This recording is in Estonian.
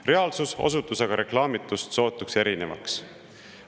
Reaalsus osutus aga reklaamitust sootuks erinevaks.